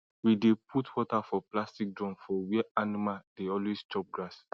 we dey put water for plastic drum for where animal dey always chop grass